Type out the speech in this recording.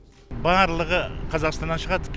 барлығы қазақстаннан шығады